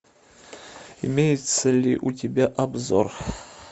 имеется ли у тебя обзор